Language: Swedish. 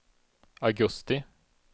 augusti